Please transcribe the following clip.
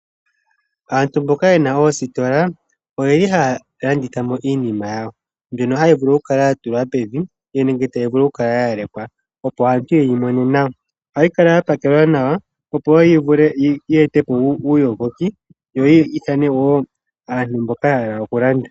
Aantu mboka yena oositola oyeli haya landithamo iinima yawo. Mbyoka hayi kala yatulwa pevi nenge ya lekwa opo aantu yeyi mone nawa. Ohayi kala ya pakelwa nawa, opo yivule yi etepo uuyogoki, yo yi ithane woo aantu mboka ya hala okulanda.